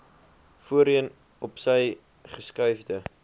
voorheen opsy geskuifde